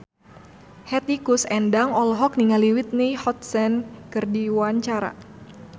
Hetty Koes Endang olohok ningali Whitney Houston keur diwawancara